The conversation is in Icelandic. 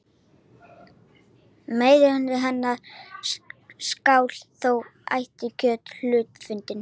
Meirihluti hennar skal þó ætíð kjörinn af hluthafafundi.